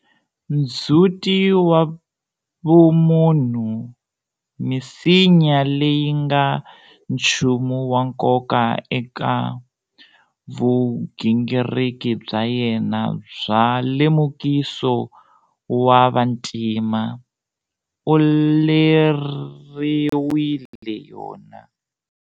Ndzhuti wa vumunhu, misinya leyi nga nchumu wa nkoka eka vugingiriki bya yena bya lemukiso wa vantima, u leriwile yona.